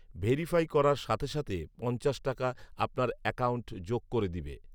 verify করার সাথে সাথে পঞ্চাশ টাকা আপনার একাউন্ট যোগ করে দিবে